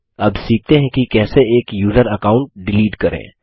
अब सीखते हैं कि कैसे एक यूज़र अकाउंट डिलीट करें